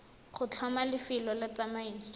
go tlhoma lefelo la tsamaiso